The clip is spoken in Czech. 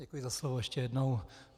Děkuji za slovo ještě jednou.